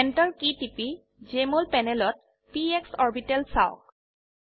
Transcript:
Enter key টিপি Jmol প্যানেলত PS orbital চাওক